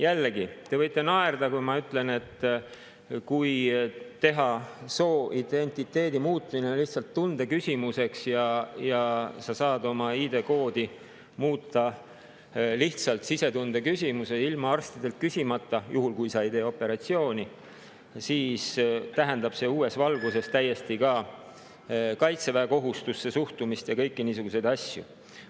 Jällegi, te võite naerda, kui ma ütlen, et kui teha sooidentiteedi muutmine lihtsalt tundeküsimuseks ja sa saad oma ID-koodi muuta lihtsalt sisetunde alusel ja ilma arstidelt küsimata – juhul, kui sa ei tee operatsiooni –, siis tähendab see täiesti uues valguses ka suhtumist kaitseväekohustusse ja kõiki niisuguseid asju.